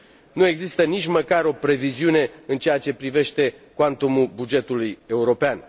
Nu există nici măcar o previziune în ceea ce privește cuantumul bugetului european.